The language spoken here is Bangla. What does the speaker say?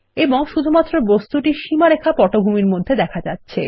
এবং শুধুমাত্র বস্তুটির সীমারেখা পটভূমির মধ্যে দেখা যাচ্ছে